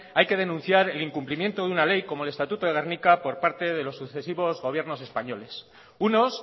hay que denunciar el incumplimiento de una ley como el estatuto de gernika por parte de los sucesivos gobiernos españoles unos